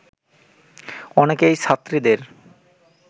অনেকেই ছাত্রীদের